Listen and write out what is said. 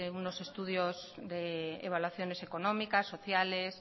unos estudios de evaluaciones económicas sociales